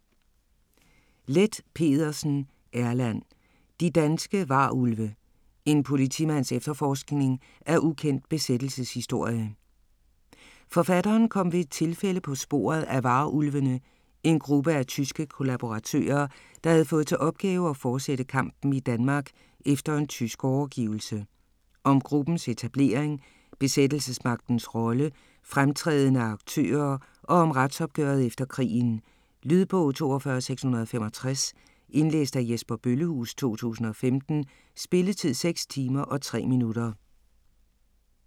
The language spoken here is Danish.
Leth Pedersen, Erland: De danske varulve: en politimands efterforskning af ukendt besættelseshistorie Forfatteren kom ved et tilfælde på sporet af "Varulvene", en gruppe af tyske kollaboratører, der havde fået til opgave at forsætte kampen i Danmark efter en tysk overgivelse. Om gruppens etablering, besættelsesmagtens rolle, fremtrædende aktører og om retsopgøret efter krigen. Lydbog 42665 Indlæst af Jesper Bøllehuus, 2015. Spilletid: 6 timer, 3 minutter.